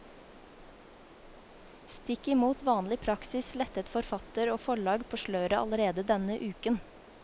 Stikk imot vanlig praksis lettet forfatter og forlag på sløret allerede denne uken.